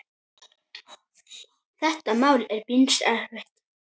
Þetta mál er býsna erfitt.